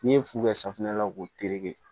N'i ye fu kɛ sanfɛla la k'o tereke